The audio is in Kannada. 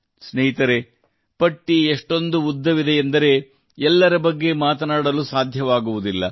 ಸ್ನೇಹಿತರೇ ಪಟ್ಟಿ ಎಷ್ಟೊಂದು ಉದ್ದವಿದೆಯೆಂದರೆ ಎಲ್ಲರ ಬಗ್ಗೆ ಮಾತನಾಡುವುದು ಸಾಧ್ಯವಾಗುವುದಿಲ್ಲ